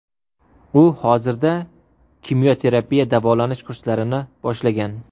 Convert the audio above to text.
U hozirda kimyoterapiya davolanish kurslarini boshlagan.